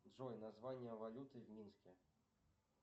джой название валюты в минске